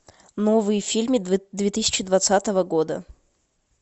новые фильмы две тысячи двадцатого года